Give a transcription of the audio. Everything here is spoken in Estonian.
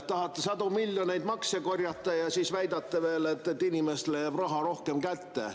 Tahate sadade miljonite eest makse korjata ja siis väidate veel, et inimestele jääb rohkem raha kätte.